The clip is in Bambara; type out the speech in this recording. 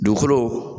Dugukolo